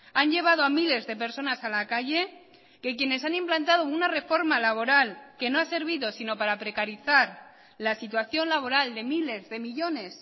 han llevado a miles de personas a la calle que quienes han implantado una reforma laboral que no ha servido sino para precarizar la situación laboral de miles de millónes